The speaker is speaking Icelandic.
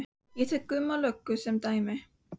Ég tek Gumma löggu sem dæmi.